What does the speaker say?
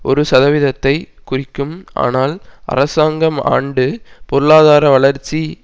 ஒரு சதவீதத்தை குறிக்கும் ஆனால் அரசாங்கம் ஆண்டு பொருளாதார வளர்ச்சி